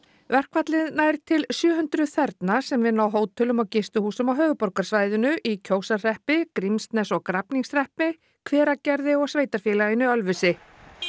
verkfallið nær til sjö hundruð þerna sem vinna á hótelum og gistihúsum á höfuðborgarsvæðinu í Kjósarhreppi Grímsnes og Grafningshreppi Hveragerði og sveitarfélaginu Ölfusi